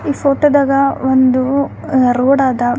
ಈ ಫೋಟೋ ದಾಗ ಒಂದು ಆಹ್ಹ್ ರೋಡ್ ಅದ.